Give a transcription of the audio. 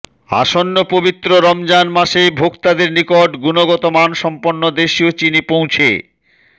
আসন্ন পবিত্র রমজান মাসে ভোক্তাদের নিকট গুণগত মানসম্পন্ন দেশীয় চিনি পৌঁছে